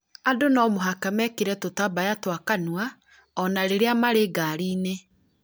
Andũ no mũhaka mekĩre tũtambaya twa kanua ona rĩrĩa marĩ ngaari-inĩ